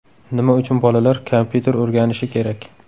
Nima uchun bolalar kompyuter o‘rganishi kerak?.